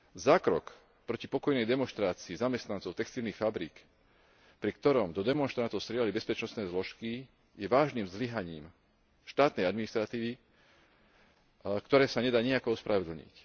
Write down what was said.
Zákrok proti pokojnej demonštrácii zamestnancov textilných fabrík, pri ktorom do demonštrantov strieľali bezpečnostné zložky, je vážnym zlyhaním štátnej administratívy, ktoré sa nedá nijako ospravedlniť.